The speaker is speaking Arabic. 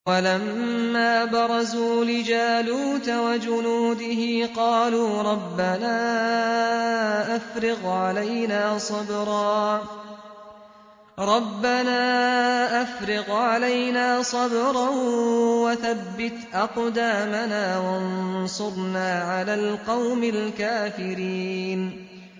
وَلَمَّا بَرَزُوا لِجَالُوتَ وَجُنُودِهِ قَالُوا رَبَّنَا أَفْرِغْ عَلَيْنَا صَبْرًا وَثَبِّتْ أَقْدَامَنَا وَانصُرْنَا عَلَى الْقَوْمِ الْكَافِرِينَ